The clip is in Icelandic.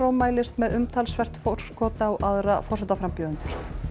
mælist með umtalsvert forskot á aðra forsetaframbjóðendur